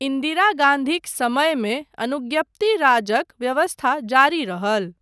इन्दिरा गाँधीक समयमे अनुज्ञप्ति राजक व्यवस्था जारी रहल।